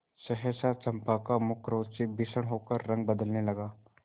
सहसा चंपा का मुख क्रोध से भीषण होकर रंग बदलने लगा